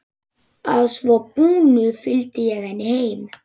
Að svo búnu fylgdi ég henni heim.